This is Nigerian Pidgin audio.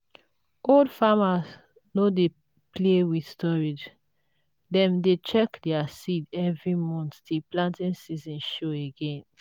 old farmers no dey play with storage; dem dey check their seeds every month till planting season show again.